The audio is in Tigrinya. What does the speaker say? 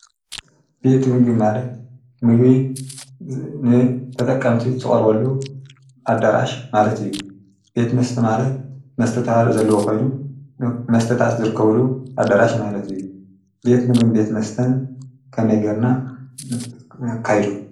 ቤት ምጊ ማለት ምጊ ንተጠቀምቲ ዝቐርወሉ ኣዳራሽ ማለት እዩ ቤት መስተ ማለት መስተታ ዘለዎኾይኑ መስተታት ዝርከብሉ ኣዳራሽ ማለት እዩ ቤት ምግን ቤት መስተን ከመይገርና ንነካይዶ?